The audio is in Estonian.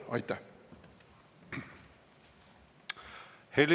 Aitäh!